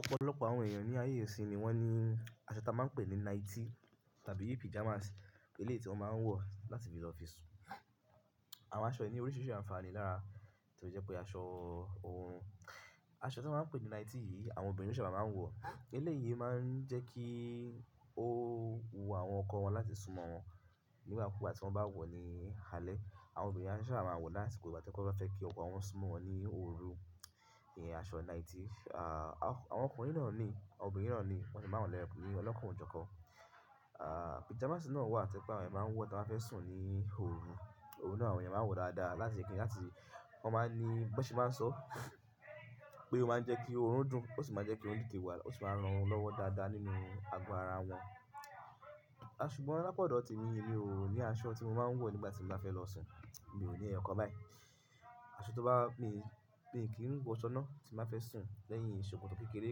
Ọ̀pọ̀lọpọ̀ àwọn èèyàn ní ayé ìṣìnyí ni wọ́n ní aṣọ tí a máa ń pè ní nightie tàbí píjamas, eléyi ti wọn máa ń wọ̀ láti fi lọ fi sùn. Àwọn aṣọ yìí ní oríṣiiríṣii àǹfààní lára tó jẹ́ pé aṣọ oorun-- aṣọ tí a máa ń pè ní nightie yìí àwọn obìnrin ṣába máa ń wọ̀. Eléyí máa ń jẹ́ kí ó wu àwọn ọkọ wọn láti súnmọ́ wọn nígbà kúúgbà tí wọ́n bá wọ̀ ní alẹ́. Àwọn obìnrin á ṣába máa wọ̀ lásìkò ìgbà tí wọ́n ba fẹ́ kí ọkọ wọn súnmọ́ wọn ní òru. Iyen aṣọ nightie, ah, àwọn ọkùnrin náà ni, àwọn obìnrin náà ni wọ́n sì máa wo ńi eyokan ní ọlọ́kàn o jókan. Píjamas náà wà to je pe àwọn èèyàn máa ń wọ̀ tí wọ́n fẹ́ sùn ní òru. Oru náà àwọn èèyàn máa ń wọ̀ dáadáa láti kíni lá ti wọ́n máa ní bó ṣe máa sọ pé ó máa ń jẹ́ kí oorun dùn, ó sì máa ń jẹ́ kí wón teté wa, ó sì máa rán orun lọ́wọ́ dáadáa nínú ago ara wọn. Ṣùgbọ́n lápa odọ̀ t'emi, emi ò ní aṣọ tí mo máa ń wọ̀ nígbà tí mo bá fẹ́ lọ sùn. Mi ò ní ẹ̀yokan báyìí. Aṣọ tó bá mi, mi kì í n wọ̀ṣọ́ nà tí n bà fẹ́ sùn lẹ́yìn ṣòkòtò kékeré,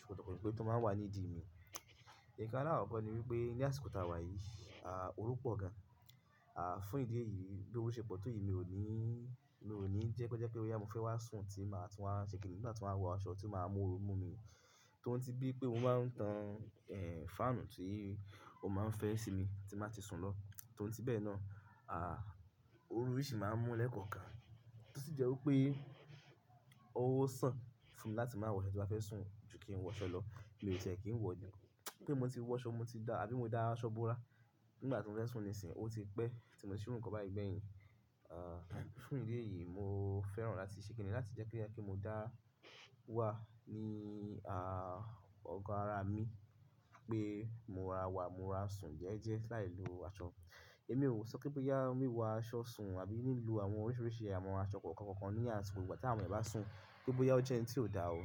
ṣòkòtò pẹ́npe tó máa wà ní ìdí mi. Nǹkan álàkokò ni wípé ní àsìkò ta wà yìí, òrú pọ̀ gan. Fún ìdí èyí bí orú ṣe pọ̀ tó yìí mi ò ní, mi ò ní ń jẹ́ kí ó jẹ́ pé bóyá mo fẹ́ wá sùn tí màá tún wá ṣe kini ti n wa tun wá wọ aṣọ tí màá mú oorun mú mi. Toun ti bí pé mo máa ń tan, fáànù tí ó máa ń fẹ́ sí mi tí n bà ti sùn lọ. Torí tí bẹ́ẹ̀ náà, ooru yiì ṣì máa ń mú lẹ́ẹ̀kọ̀ọ́kan. Ó sì jẹ́ wípé ó san fún mi láti máa wọ aṣọ tí màá fẹ́ sùn ju kí n wọṣọ lọ. Mi ò tẹ́ kí n wọ̀ ni. Pe mò ti wọṣọ mò ti da àbí mò dá aṣọ borá nígbà tí mò ń fẹ́ sùn nísínyi, ó ti pẹ́ tí mò ń ṣe irú nǹkan báyìí gbẹ́yìn. Fún ìdí èyí mò fẹ́ràn láti ṣe kini láti jẹ́ ko jẹ pe mò dá wà ní, ọgọ́ ara mi pé mó rara wà, mó rara sùn jẹ̀jẹ̀ láìlo aṣọ. Ẹ̀mí ò sọ pé bóyá wíwọ aṣọ sùn àbí lilo àwọn oríṣiiríṣii àwọn aṣọ kọ̀ọ̀kan kọ̀ọ̀kan ní àsìkò ìgbà tí àwọn èèyàn bá sùn. Bóyá ó jẹ́ n tí ò dá o.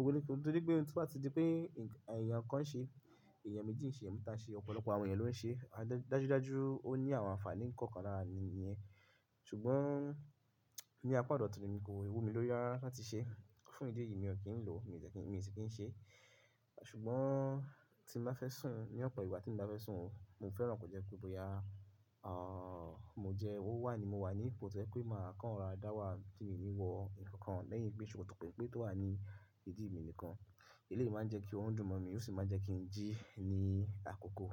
Nítorí. Torí pe n to dí pé eẹ̀yàn kan ń ṣe, eẹ̀yàn méjì ń ṣe, eeyan mẹ́ta n ṣe, ọ̀pọ̀lọpọ̀ àwọn èèyàn ló ń ṣe. Dájudájú ó ní àwọn àǹfààní kọ̀ọ̀kan lára nìyẹn. Ṣùgbọ́n ní apá odo t'emi kòi wú mi lórí rára láti ṣe. Fún ìdí èyí mi ò kín lò, mi ò dẹ́ kí n mi n si ki n ṣe. Ṣùgbọ́n tí n bá fẹ́ sùn ní ọ̀pọ̀ ìgbà tí emi bà fẹ́ sùn, mò ń fẹ́ràn kó jẹ́ pé bóyá, mò jẹ́ o wa ni mo wà ni ipò tẹ́ je pé màá kan rora dá wà tí mi n ni wọ nnkankan lẹ́yìn pé ṣòkòtò pẹ́ tó wà ní ìdí mi nìkan. Eléyi máa ń jẹ́ kí oorun dùn mọ́ mi, ó sì máa ń jẹ́ kí n jí ní àkókò.